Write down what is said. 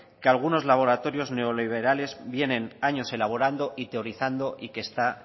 que algunos laboratorios neoliberales vienen años elaborando y teorizando y que está